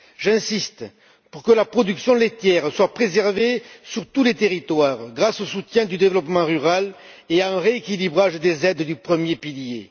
J'insiste pour que la production laitière soit préservée sur tous les territoires, grâce au soutien du développement rural et à un rééquilibrage des aides du premier pilier.